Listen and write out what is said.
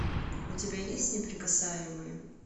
у тебя есть неприкасаемые